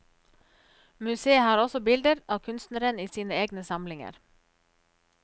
Museet har også bilder av kunstneren i sine egne samlinger.